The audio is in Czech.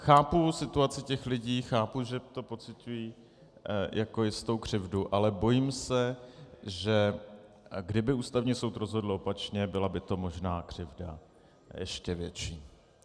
Chápu situaci těch lidí, chápu, že to pociťují jako jistou křivdu, ale bojím se, že kdyby Ústavní soud rozhodl opačně, byla by to možná křivda ještě větší.